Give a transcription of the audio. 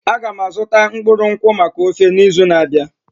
Aga m azụta mkpụrụ nkwụ maka ofe n'izu na-abịa.